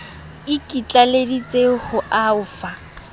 e ikitlaleditse ho o fa